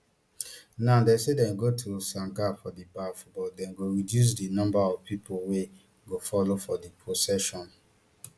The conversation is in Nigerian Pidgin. now dem say dem go to sangam for di baff but dem go reduce di number of pipo wey go follow for di procession